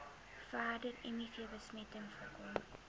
verdere mivbesmetting voorkom